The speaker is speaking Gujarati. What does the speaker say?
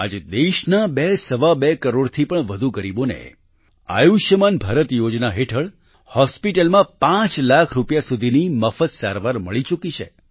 આજે દેશના બેસવા બે કરોડથી પણ વધુ ગરીબોને આયુષ્યમાન ભારત યોજના હેઠળ હોસ્પિટલમાં 5 લાખ રૂપિયા સુધીની મફત સારવાર મળી ચૂકી છે